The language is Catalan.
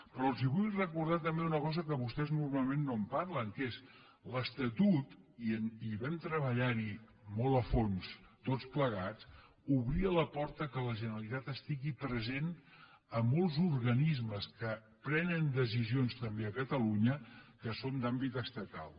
però els vull recordar també una cosa que vostès normalment no en parlen que és l’estatut i hi vam treballar molt a fons tots plegats obria la porta que la generalitat estigui present a molts organismes que prenen decisions també a catalunya que són d’àmbit estatal